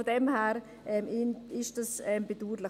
Daher ist es bedauerlich.